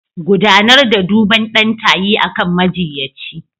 Gudanar da duban ɗan tayi akan majiyyaci.